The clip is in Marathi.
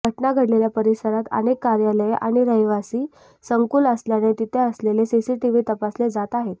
घटना घडलेल्या परिसरात अनेक कार्यालये आणि रहिवासी संकुल असल्याने तिथे असलेले सीसीटीव्ही तपासले जात आहेत